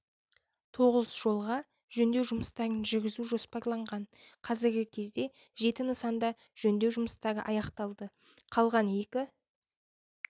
тоғыз жолға жөндеу жұмыстарын жүргізу жоспарланған қазіргі кезде жеті нысанда жөндеу жұмыстары аяқталды қалған екі